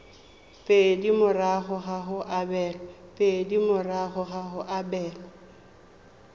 pedi morago ga go abelwa